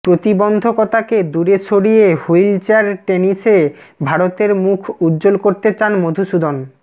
প্রতিবন্ধকতাকে দূরে সরিয়ে wheelchair টেনিসে ভারতের মুখ উজ্জ্বল করতে চান মধুসূদন